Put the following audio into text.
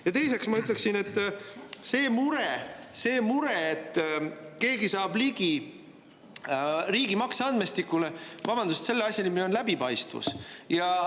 Ja teiseks, see mure, et keegi saab ligi riigi makseandmestikule – vabandust, aga selle asja nimi on läbipaistvus.